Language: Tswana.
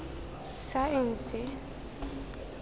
saense